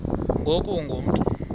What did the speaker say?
ngoku ungu mntu